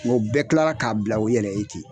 Wa o bɛɛ kilara k'a bila u yɛrɛ ye ten.